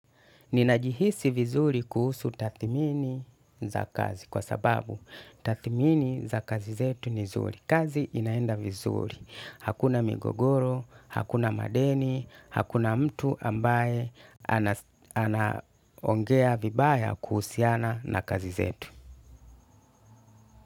Ninajihisi vizuri kuhusu tathimini za kazi kwa sababu tathimini za kazi zetu ni zuri. Kazi inaenda vizuri. Hakuna migogoro, hakuna madeni, hakuna mtu ambaye anaongea vibaya kuhusiana na kazi zetu.